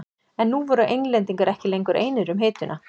En nú voru Englendingar ekki lengur einir um hituna.